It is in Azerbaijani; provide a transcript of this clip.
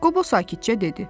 Qobo sakitcə dedi.